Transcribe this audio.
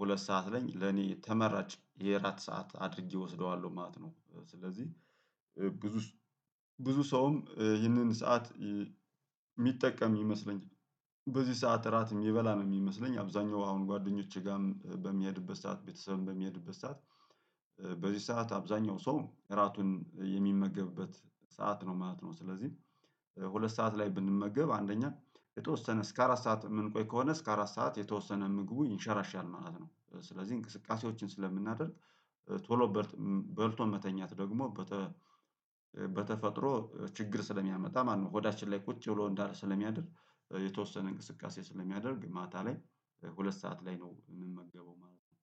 ሁለት ሰዓት ላይ ለኔ ተመራጭ የእራት ሰዓት አድርጌ እወስደዋለሁ ማለት ነው። ስለዚህ ብዙ ብዙ ሰውም ይህንን ሰዓት የሚጠቀም ይመስለኛል። በዚህ ሰዓት እራት የምበላ ነው የሚመስለኝ፣ አብዛኛው አሁን ጓደኞቼ ጋርም በሚሄድበት ሰዓት፣ ቤተሰብም በሚሄድበት ሰዓት በዚህ ሰዓት አብዛኛው ሰው እራቱን የሚመገብበት ሰዓት ነው ማለት ነው። ስለዚህ ሁለት ሰዓት ላይ ብንመገብ አንደኛ የተወሰነ እስከ አራት ሰዓት የምንቆይ ከሆነ፣ እስከ አራት ሰዓት የተወሰነ ምግቡ ይንሸራሻል ማለት ነው። ስለዚህ እንቅስቃሴዎችን ስለምናደርግ ቶሎ በልቶ መተኛት ደግሞ በተ በተፈጥሮ ችግር ስለሚያመጣ ማነው፣ ሆዳችን ላይ ቁጭ ብሎ እንዳለ ስለሚያድር የተወሰነ እንቅስቃሴ ስለሚያደርግ ማታ ላይ ሁለት ሰዓት ላይ ነው የምመገበው ማለት ነው።